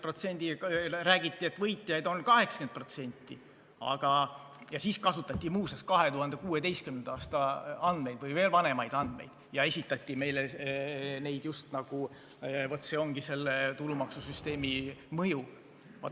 Räägiti, et võitjaid on 80%, siis kasutati, muuseas, 2016. aasta või veel vanemaid andmeid, ja esitati meile neid nii, just nagu see olekski selle tulumaksusüsteemi mõju.